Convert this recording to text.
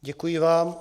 Děkuji vám.